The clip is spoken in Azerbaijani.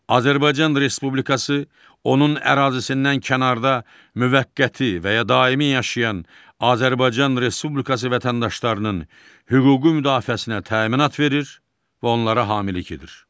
Azərbaycan Respublikası, onun ərazisindən kənarda müvəqqəti və ya daimi yaşayan Azərbaycan Respublikası vətəndaşlarının hüquqi müdafiəsinə təminat verir və onlara hamilik edir.